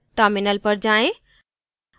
terminal पर जाएँ